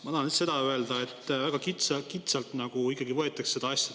Ma tahan lihtsalt seda öelda, et väga kitsalt võetakse seda asja.